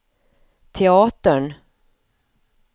teatern